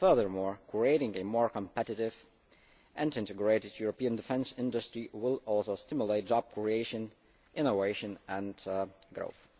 Furthermore, creating a more competitive and integrated European defence industry will also stimulate job creation, innovation and growth.